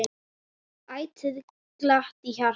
Ætíð glatt á hjalla.